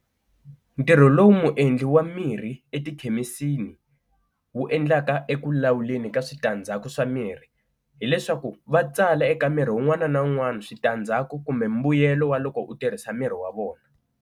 Ntirho lowu muendli wa mirhi etikhemisini wu endlaka eku lawuleni ka switandzhaku swa miri, hileswaku va tsala eka mirhi wun'wana na wun'wana switandzhaku kumbe mbuyelo wa loko u tirhisa miri wa vona.